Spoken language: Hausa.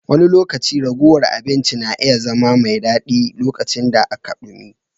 Wani lokaci ragowar abincin na iya zama mai daɗi, lokacin da aka dumi.